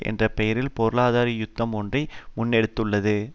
என்ற பெயரில் பொருளாதார யுத்தம் ஒன்றை முன்னெடுத்துள்ளது